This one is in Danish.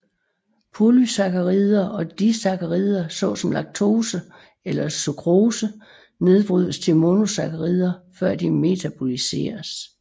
Polysakkarider og disakkarider såsom laktose eller sukrose nedbrydes til monosakkarider før de metaboliseres